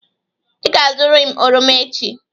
Ị ga-azụrịrị oroma echi!